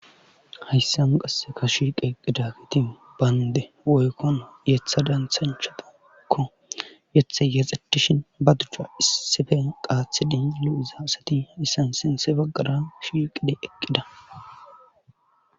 Hayssan qasse ka shiqeqqidakiti baynde woykkon yetha danthanchatakko yethe yaxetishin ba duchcha issife qaathidi lu'iza asati hayssan sintse baggara shiqide eqqida.